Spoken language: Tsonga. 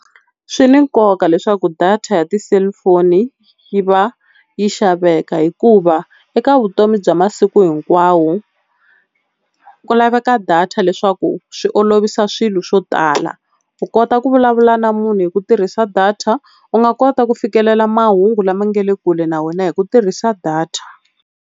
Swi ni nkoka leswaku data ya ti-cellphone yi va yi xaveka hikuva eka vutomi bya masiku hinkwawo ku laveka data leswaku swi olovisa swilo swo tala, u kota ku vulavula na munhu hi ku tirhisa data u nga kota ku fikelela mahungu lama nga le kule na wena hi ku tirhisa data.